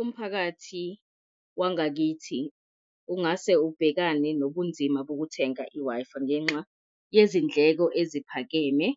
Umphakathi wangakithi ungase ubhekane nobunzima bokuthenga i-Wi-Fi ngenxa yezindleko eziphakeme